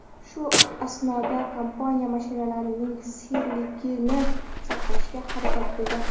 Shu asnoda kompaniya mashinalarning sirliligini saqlashga harakat qilgan.